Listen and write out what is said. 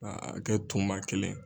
a bɛ kɛ tunba kelen ye.